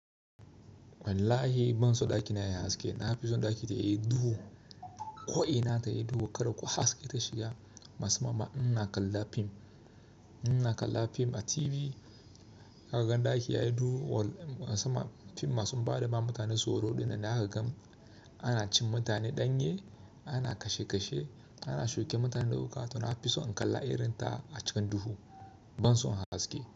Wallahi ban so ɗakina yayi haske. Na fi so ɗaki da yayi duhu. Ko'ina tai yi duhu, kada ko haske ta shiga. Masan ma, ina kalla fim, ina kalla fim a TV. Ka gan ɗakita yayi duhu, wall, masan ma fim masun baɗi ba, mutane tsoro ɗin nan. Zaka gam ana cin mutane danye, ana kashe kashe, ana shuke mutane da wuƙa, to na fi so in kalla irin ta a cikin duhu, ban so in haske.